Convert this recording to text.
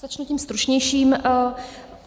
Začnu tím stručnějším.